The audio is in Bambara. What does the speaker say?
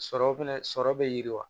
Sɔrɔ fɛnɛ sɔrɔ be yiriwa